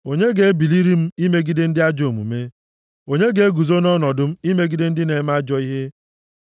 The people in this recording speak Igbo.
Onye ga-ebiliri m imegide ndị ajọ omume? Onye ga-eguzo nʼọnọdụ m imegide ndị na-eme ajọ ihe?